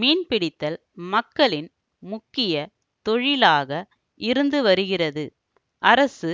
மீன்பிடித்தல் மக்களின் முக்கிய தொழிலாக இருந்துவருகிறது அரசு